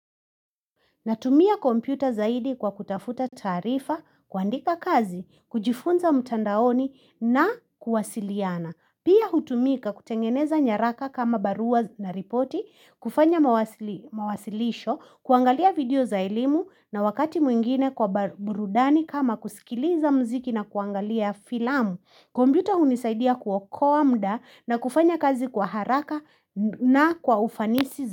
Natumia kompyuta zaidi kwa kutafuta taarifa, kuandika kazi, kujifunza mtandaoni na kuwasiliana. Pia hutumika kutengeneza nyaraka kama barua na ripoti, kufanya mawasilisho, kuangalia video za elimu na wakati mwingine kwa burudani kama kusikiliza muziki na kuangalia filamu. Kompyuta hunisaidia kuokoa muda na kufanya kazi kwa haraka na kwa ufanisi zaidi.